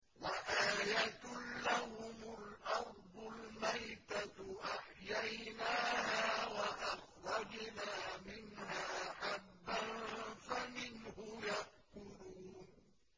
وَآيَةٌ لَّهُمُ الْأَرْضُ الْمَيْتَةُ أَحْيَيْنَاهَا وَأَخْرَجْنَا مِنْهَا حَبًّا فَمِنْهُ يَأْكُلُونَ